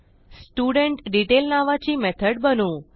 स्टुडेंटडेतैल नावाची मेथड बनवू